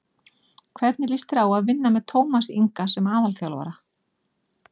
Hvernig líst þér á að vinna með Tómasi Inga sem aðalþjálfara?